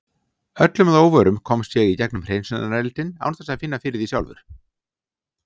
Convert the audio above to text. Öllum að óvörum komst ég í gegnum hreinsunareldinn án þess að finna fyrir því sjálfur.